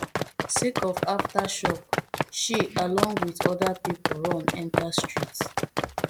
sake of aftershock she along wit oda pipo run enta street